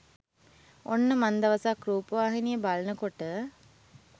ඔන්න මන් දවසක් රුපවහිනිය බලන කොට